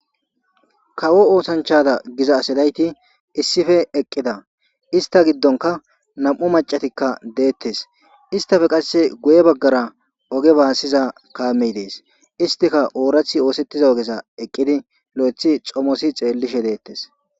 kawo oosanchada giza asidayti issife eqqida ista giddonka nam7u macatikka deettes istafe qasse guye baggara oge baassiza kaamey dees istika oorathi oosettiza ogesa eqqidi lo7ethi comosi xeellishe deettes